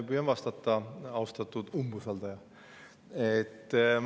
Püüan vastata, austatud umbusaldaja.